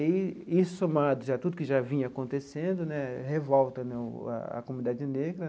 E isso somado já a tudo que já vinha acontecendo né, revolta no a comunidade negra.